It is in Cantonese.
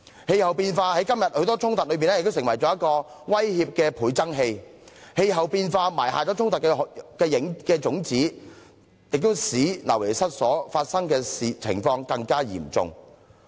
氣候變化在今天多種衝突中亦成為威脅的倍增器，因氣候變化埋下衝突的種子，亦使流離失所的情況更加嚴重。